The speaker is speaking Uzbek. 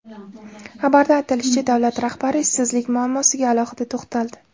Xabarda aytilishicha, davlat rahbari ishsizlik muammosiga alohida to‘xtaldi.